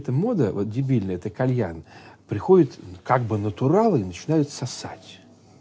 эта мода вот дебильная это кальян приходят ну как бы натуралы начинают сосать